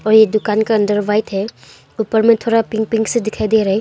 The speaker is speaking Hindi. ये दुकान का अंदर वाइट है ऊपर में थोड़ा पिंक पिंक से दिखाई दे रहा है।